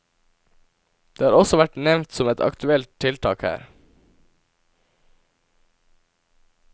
Det har også vært nevnt som et aktuelt tiltak her.